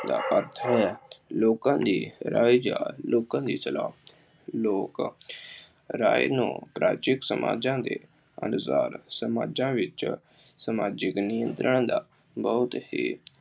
ਦਾ ਅਰਥ ਹੈ ਲੋਕਾਂ ਦੀ ਰਾਏ ਜਾਂ ਲੋਕਾਂ ਦੀ ਸਲਾਹ, ਲੋਕ ਰਾਏ ਨੂੰ ਸਮਾਜਾਂ ਦੇ ਅਨੁਸਾਰ ਸਮਾਜਾਂ ਵਿੱਚ ਸਾਮਾਜਿਕ ਨਿਯਮਾਂ ਦਾ ਬਹੁਤ ਹੀ